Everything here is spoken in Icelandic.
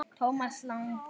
Thomas Lang